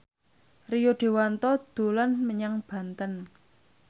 Rio Dewanto dolan menyang Banten